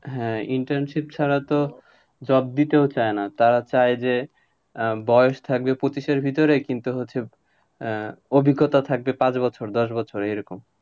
হ্যাঁ, internship ছাড়া তো job দিতেও চায়না, তারা চায় যে, আহ বয়স থাকবে পঁচিশের ভিতরে, কিন্তু হচ্ছে আহ অভিজ্ঞতা থাকবে পাঁচ বছর দশ বছর এরকম।